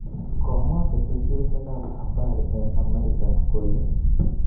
Komwa ketesyosek ab habari eng amerika kole